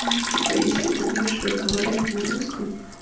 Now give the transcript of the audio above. ну типа если ты будешь разговаривать на русском